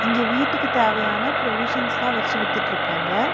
இங்க வீட்டுக்கு தேவையான ப்ரொவிஷன்ஸ்லா வெச்சு வித்துட்டுருக்காங்க.